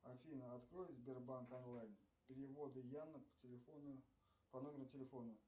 афина открой сбербанк онлайн переводы яна по телефону по номеру телефона